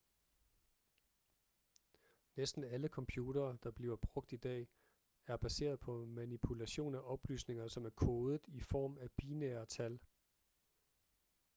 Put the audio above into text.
næsten alle computere der bliver brugt i dag er baseret på manipulation af oplysninger som er kodet i form af binære tal